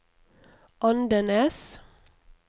Andenes